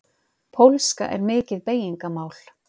Pólska er mikið beygingamál.